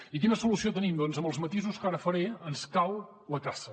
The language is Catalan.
i quina solució tenim doncs amb els matisos que ara faré ens cal la caça